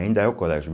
Ainda é o colégio.